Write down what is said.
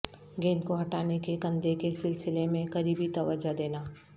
گیند کو ہٹانے کے کندھے کے سلسلے میں قریبی توجہ دینا